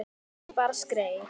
Ég bara skreið